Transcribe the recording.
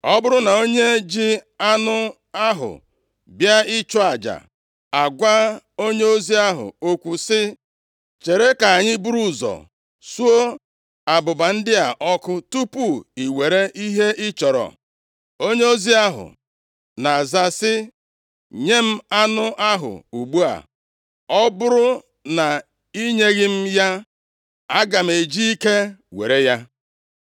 Ọ bụrụ na onye ji anụ ahụ bịa ịchụ aja agwa onyeozi ahụ okwu sị, “Chere ka anyị buru ụzọ suo abụba ndị a ọkụ tupu i were ihe ị chọrọ,” onyeozi ahụ na-aza sị, “Nye m anụ ahụ ugbu a, ọ bụrụ na i nyeghị m ya aga m eji ike were ya.”